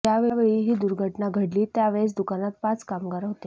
ज्यावेळी ही दुर्घटना घडली त्यावेळेस दुकानात पाच कामगार होते